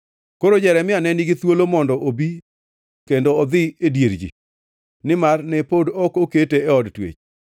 Koro Jeremia ne nigi thuolo mondo obi kendo odhi e dier ji, nimar ne pod ok okete e od twech.